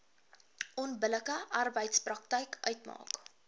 onbillike arbeidspraktyk uitmaak